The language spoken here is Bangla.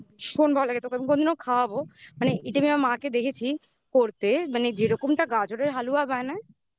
আমি কোনদিনও খাওয়াবো মানে এটা আমি আমার মাকে দেখেছি করতে মানে যেরকমটা গাজরের হালুয়া বানায়